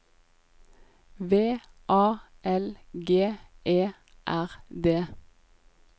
V A L G E R D